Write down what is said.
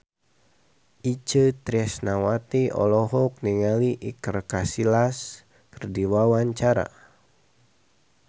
Itje Tresnawati olohok ningali Iker Casillas keur diwawancara